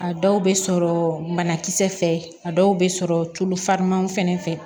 A dɔw bɛ sɔrɔ banakisɛ fɛ a dɔw bɛ sɔrɔ tulu farimanw fɛnɛ fɛ